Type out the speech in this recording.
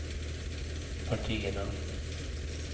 partierna